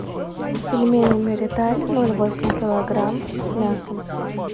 пельмени мириталь ноль восемь килограмм с мясом